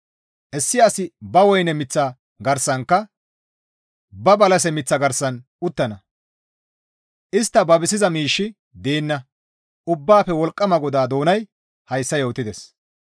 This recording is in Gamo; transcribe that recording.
Issi asi ba woyne miththa garsankka ba balase miththa garsan uttana; istta babisiza miishshi deenna; Ubbaafe wolqqama GODAA doonay hayssa yootides.